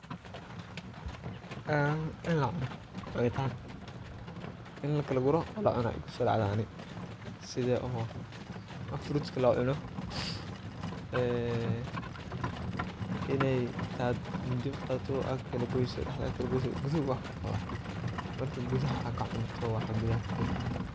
Een cunitaan iin lakala guuro oo la cuno aya igu sodacde ,sida oo frutka lo cuuno ee inaad miidi uqadato aad kalagos dahdaa aad kugalagoso gudaha uu wax kuqawa ,marka gudahaa aad kacunto waxa gudaha kujira.